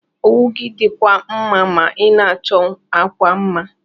Owu gi dikwa mma ma ina achọ akwa mma.